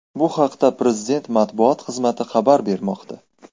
Bu haqda prezident matbuot xizmati xabar bermoqda .